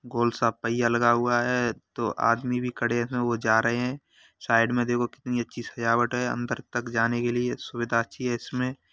गोल सा पहिया लगा हुआ है तो आदमी भी खड़े हुए जा रहे हैं साइड में देखिए कितनी अच्छी सजावट है अंदर तक जाने के लिए सुविधा अच्छी है इसमें।